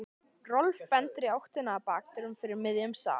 Rolf bendir í áttina að bakdyrunum fyrir miðjum salnum.